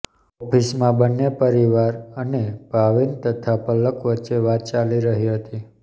ઓફિસમાં બંને પરિવાર અને ભાવિન તથા પલક વચ્ચે વાત ચાલી રહી હતી